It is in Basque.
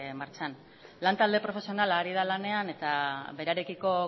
martxan lan talde profesionala ari da lanean eta berarekiko